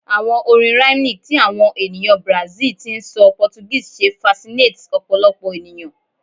Ohun orin rhythmic ti awọn eniyan Brazil ti n sọ Portuguese ṣe fasinates ọpọlọpọ eniyan